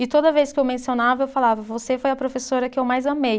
E toda vez que eu mencionava, eu falava, você foi a professora que eu mais amei.